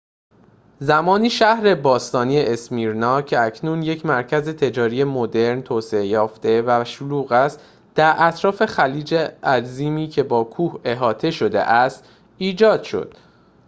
زمانی شهر باستانی اسمیرنا که اکنون یک مرکز تجاری مدرن توسعه یافته و شلوغ است در اطراف خلیج عظیمی که با کوه احاطه شده است ایجاد شد